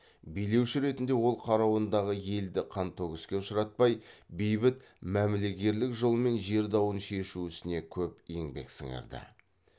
билеуші ретінде ол қарауындағы елді қантөгіске ұшыратпай бейбіт мәмілегерлік жолмен жер дауын шешу ісіне көп еңбек сіңірді